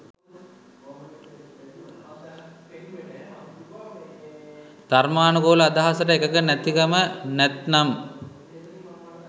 ධර්මානුකූල අදහසට එකඟ නැතිකම නැත්නම්